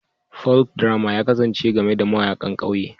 Folkdrama ya kasance game da mayaƙan ƙauye